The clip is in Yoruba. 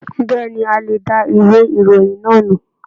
Bẹ̀ẹ́ni, a lè dá ìwé ìròyìn náà nù.